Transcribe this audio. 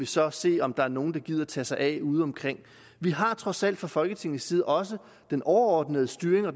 så se om der er nogle der gider tage sig af udeomkring vi har trods alt fra folketingets side også den overordnede styring af og